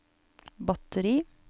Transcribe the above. batteri